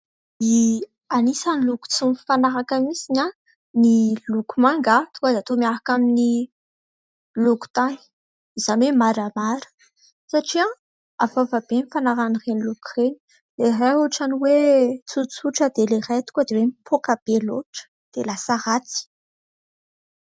Anisany loko tsy mifanaraka mihitsiny ny loko manga tonga dia atao miaraka amin'ny loko tany izany hoe maramara ; satria hafahafa be ny fanarahan'ireny loko ireny ilay iray ohatran'ny hoe tsotsotra dia ilay iray tonga dia hoe mipoaka be loatra dia lasa ratsy.